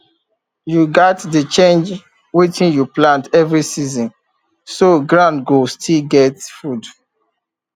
you gats dey change wetin you plant every season so ground go still get food